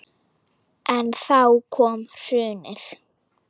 En þá kom hrunið.